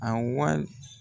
A wal